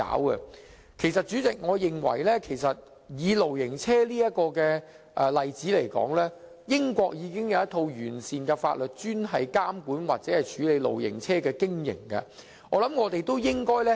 代理主席，我認為以露營車這個例子來說，英國已有一套完善法律，專門監管或處理露營車的經營。